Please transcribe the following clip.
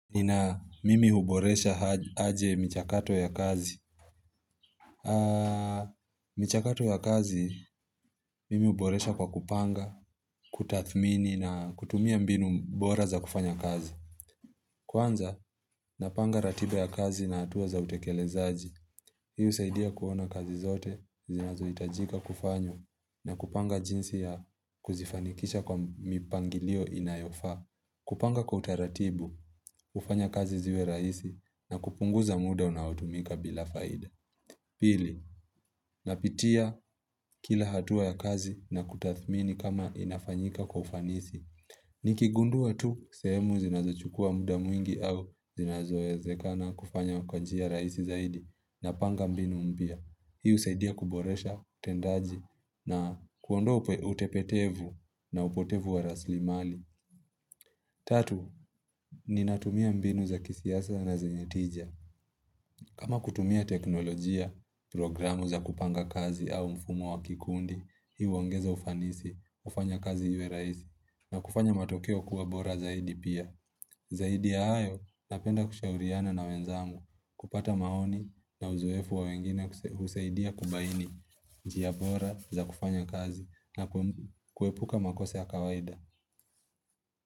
Nina mimi huboresha aje michakato ya kazi? Michakato ya kazi, mimi huboresha kwa kupanga, kutathmini na kutumia mbinu bora za kufanya kazi. Kwanza, napanga ratiba ya kazi na hatua za utekelezaji. Hii husaidia kuona kazi zote, zinazohitajika kufanywa, na kupanga jinsi ya kuzifanikisha kwa mipangilio inayofaa. Kupanga kwa utaratibu, hufanya kazi ziwe rahisi na kupunguza muda unaotumika bila faida Pili, napitia kila hatua ya kazi na kutathmini kama inafanyika kwa ufanisi Nikigundua tu, sehemu zinazochukua muda mwingi au zinazoezekana kufanya kwa njia rahisi zaidi napanga mbinu mpya, hii husaidia kuboresha utendaji na kuondoa utepetevu na upotevu wa rasilimali Tatu, ninatumia mbinu za kisiasa na zenye tija. Kama kutumia teknolojia, programu za kupanga kazi au mfumo wa kikundi, hii huongeza ufanisi, hufanya kazi iwe rahisi, na kufanya matokeo kuwa bora zaidi pia. Zaidi ya hayo, napenda kushauriana na wenzangu, kupata maoni na uzoefu wa wengine kusaidia kubaini, njia bora za kufanya kazi, na kuepuka makosa ya kawaida.